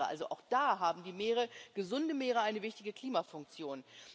Also auch da haben die Meere gesunde Meere eine wichtige Klimafunktion.